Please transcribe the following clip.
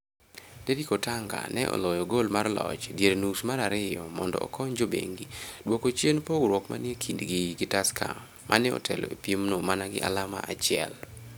Derrick Otanga ne oloyo gol mar loch e dier nus mar ariyo mondo okony jobengi duoko chien pogruok manie kindgi gi Tusker ma otelo e piemno mana gi alama achiel.